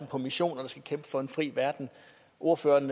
på missioner og kæmpe for en fri verden ordføreren